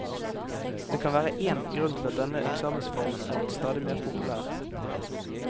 Det kan være én grunn til at denne eksamensformen er blitt stadig mer populær.